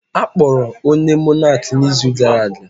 Akpọrọ onye Monak na izu gara aga